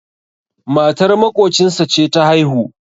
matar maƙocinsa ce ta haihu